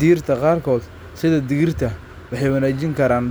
Dhirta qaarkood, sida digirta, waxay wanaajin karaan